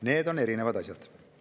Need on erinevad asjad.